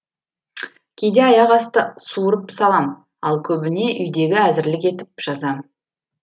кейде аяқ асты суырып салам ал көбіне үйдегі әзірлік етіп жазам